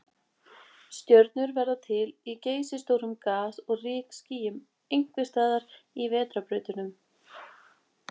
Stjörnur verða til í geysistórum gas- og rykskýjum, einhvers staðar í vetrarbrautunum.